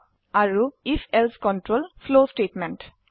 আৰু ifএলছে control flow statement